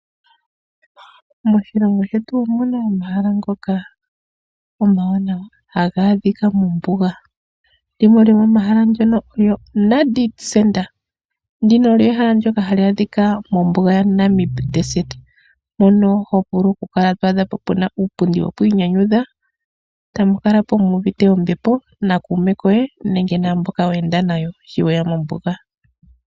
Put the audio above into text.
Okuna omahala omawaanawa hoka to vulu okuya nookuume koye nenge naa kwanezimo yoye muu kuuve oka mbepo.